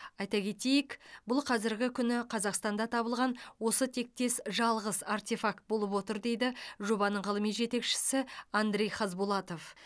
айта кетейік бұл қазіргі күні қазақстанда табылған осы тектес жалғыз артефакт болып отыр дейді жобаның ғылыми жетекшісі андрей хазбулатов